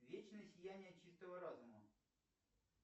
вечное сияние чистого разума